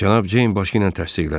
Cənab Ceyn başı ilə təsdiqlədi.